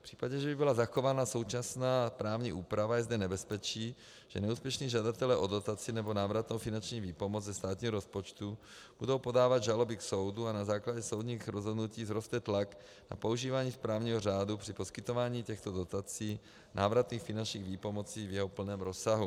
V případě, že by byla zachována současná právní úprava, je zde nebezpečí, že neúspěšní žadatelé o dotaci nebo návratnou finanční výpomoc ze státního rozpočtu budou podávat žaloby k soudu a na základě soudních rozhodnutí vzroste tlak na používání správního řádu při poskytování těchto dotací návratných finančních výpomocí v jeho plném rozsahu.